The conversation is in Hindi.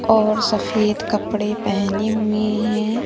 और सफेद कपड़े पहने हुए हैं।